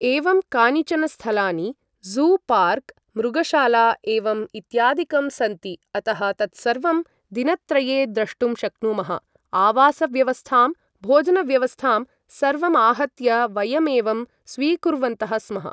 एवं कानिचनस्थलानि zoo park मृगशाला एवम् इत्यादिकं सन्ति अतः तत्सर्वं दिनत्रये द्रष्टुं शक्नुमः आवासव्यवस्थां भोजनव्यवस्थां सर्वमाहत्य वयमेवं स्वीकुर्वन्तः स्मः